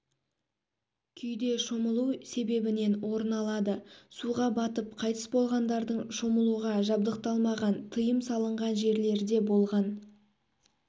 күйде шомылу себебінен орын алады суға батып қайтыс болғандардың шомылуға жабдықталмаған тыйым салынған жерлерде болған